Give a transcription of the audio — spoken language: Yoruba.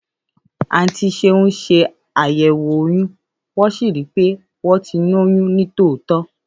Àńti sẹun sẹ àyéwò òyún wón si ri pẹ à wọn ti lóyún nitótọ